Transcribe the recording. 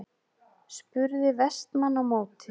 spurði Vestmann á móti.